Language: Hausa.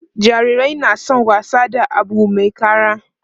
jarirai na San wasa da Abu Mai kara